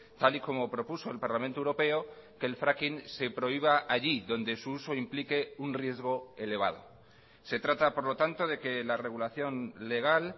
tal y como propuso el parlamento europeo que el fracking se prohíba allí donde su uso implique un riesgo elevado se trata por lo tanto de que la regulación legal